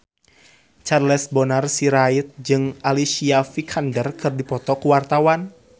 Charles Bonar Sirait jeung Alicia Vikander keur dipoto ku wartawan